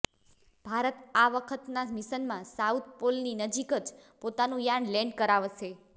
ભારત આ વખતના મિશનમાં સાઉથ પોલની નજીક જ પોતાનું યાન લેન્ડ કરાવશે